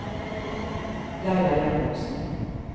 Laila Jacobsen